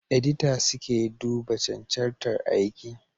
Edita suke duba cancantar aiki